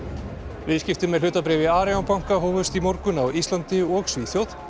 viðskipti með hlutabréf í Arion banka hófust í morgun á Íslandi og Svíþjóð